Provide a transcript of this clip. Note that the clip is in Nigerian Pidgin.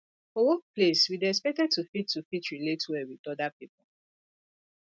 for workplace we dey expected to fit to fit relate well with oda pipo